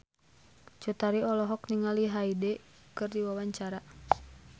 Cut Tari olohok ningali Hyde keur diwawancara